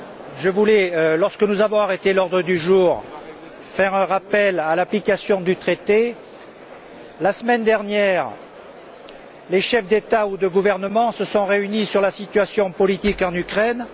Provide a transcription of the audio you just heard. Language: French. Madame la Présidente, je voulais, lorsque nous avons arrêté l'ordre du jour, faire un rappel à l'application du traité. La semaine dernière, les chefs d'État ou de gouvernement se sont réunis pour évoquer la situation politique en Ukraine.